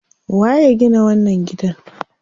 Waye ya gina wannan gidan?